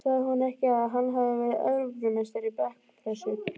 Sagði hún ekki að hann hefði verið Evrópumeistari í bekkpressu?